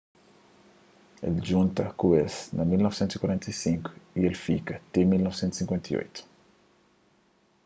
el djunta ku es na 1945 y el fika ti 1958